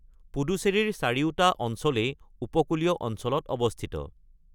পুডুচেৰীৰ চাৰিওটা অঞ্চলেই উপকূলীয় অঞ্চলত অৱস্থিত।